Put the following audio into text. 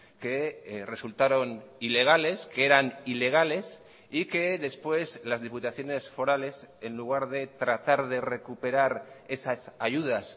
que resultaron ilegales que eran ilegales y que después las diputaciones forales en lugar de tratar de recuperar esas ayudas